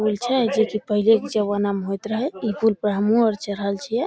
पूल छै जे कि पहले के जमाना में होयत रहे इ पूल पर हमू आर चढ़ल छिये।